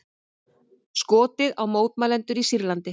Skotið á mótmælendur í Sýrlandi